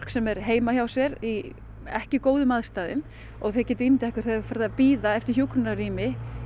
sem er heima hjá sér í ekki góðum aðstæðum og þið getið ímyndað ykkur það er farið að bíða eftir hjúkrunarrými